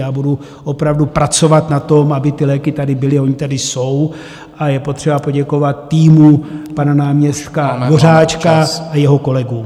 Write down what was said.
Já budu opravdu pracovat na tom, aby ty léky tady byly, ony tady jsou a je potřeba poděkovat týmu pana náměstka Dvořáčka... a jeho kolegům.